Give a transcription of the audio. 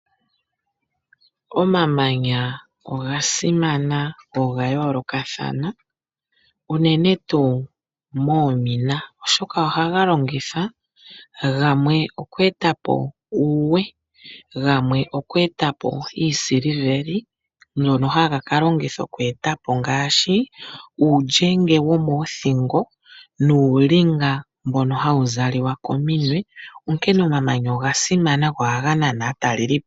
Omamanya oga simana go oga yoolokathana, unene tuu moomina, oshoka ohaga longithwa gamwe oku eta po uuwe, gamwe oku eta po iisiliveli ngono haga ka longithwa oku eta po ngaashi uulyenge womoothingo nuulinga mbono hawu zalwa kominwe, onkene omamanya oga simana go ohaga nana aatalelipo.